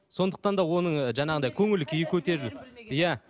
сондықтан да оның жаңағыдай көңіл күйі көтеріліп иә